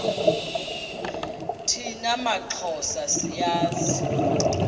thina maxhosa siyazi